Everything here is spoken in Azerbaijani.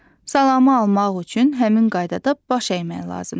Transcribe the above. Salamı almaq üçün həmin qaydada baş əymək lazımdır.